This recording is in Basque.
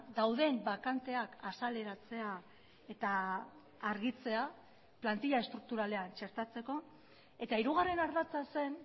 dauden bakanteak azaleratzea eta argitzea plantila estrukturalean txertatzeko eta hirugarren ardatza zen